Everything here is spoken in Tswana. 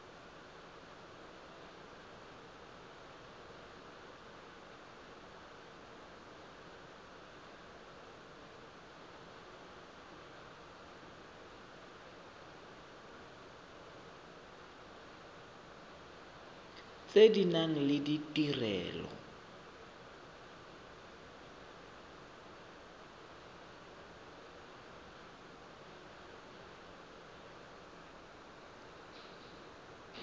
tse di nang le ditirelo